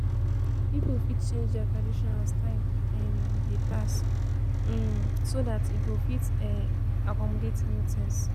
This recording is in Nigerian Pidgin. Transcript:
pipo fit change their tradition as time um dey pass um so dat e go fit um accomodat new things